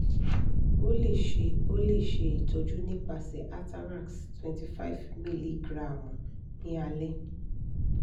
o le ṣe o le ṣe itọju nipasẹ atarax twenty five miligiramu ni alẹ